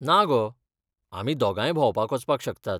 ना गो, आमी दोगांय भोंवपाक वचपाक शकतात.